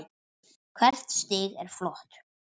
Hvert stig er flott.